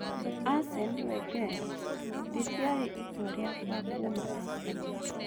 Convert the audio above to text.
Arsene Wenger; rĩtiarĩ itua rĩakwa kuuma arsenal